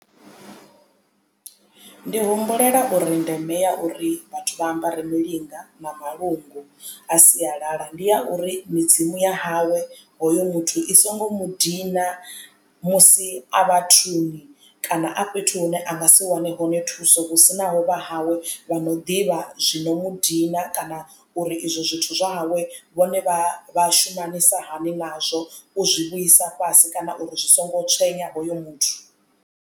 Ndi humbulela uri ndeme ya uri vhathu vha ambare milinga na malungu a sialala ndi ya uri midzimu ya hawe hoyo muthu i songo mu dina musi a vhathuni kana a fhethu hune a nga si wane hone thuso hu sina ho vha hawe vha no ḓivha zwino mudina kana uri izwo zwithu zwa hawe vhone vha vha shumanisa hani nazwo u zwi vhuisa fhasi kana uri zwi songo tswenya hoyo muthu.